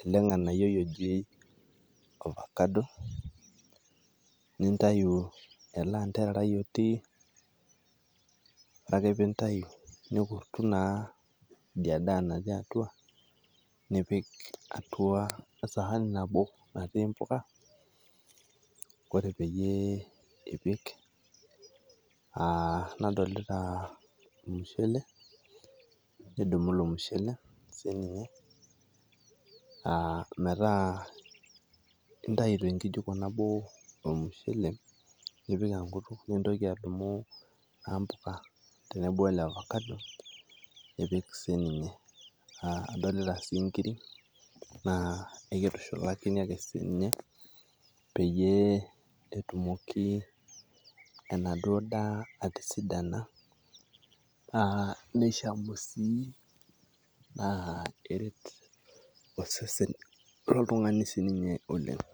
ele nganayioi oji avocado, nintayu ele anterarai otii ore ake pintayu nikurtu naa idia daa natii atua nipik atua esaani nabo natii mpuka. Kore peyie ipik a nadolita mushele nidumu ilo mushele sininye a metaa intayu te nkijiko nabo ilo mushele nipik enkutuk, nintoki adumu naa mpuka tenebo we ele avocado nipik sininye. Adolita sii nkirik naa kitushulakini ake siinye peyie etumoki enaduo daa atisidina naa nishamu sii naa eret osesen loltung'ani sininye oleng'.